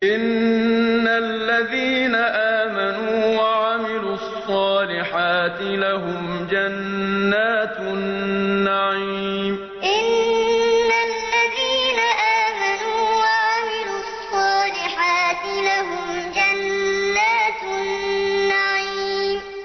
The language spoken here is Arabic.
إِنَّ الَّذِينَ آمَنُوا وَعَمِلُوا الصَّالِحَاتِ لَهُمْ جَنَّاتُ النَّعِيمِ إِنَّ الَّذِينَ آمَنُوا وَعَمِلُوا الصَّالِحَاتِ لَهُمْ جَنَّاتُ النَّعِيمِ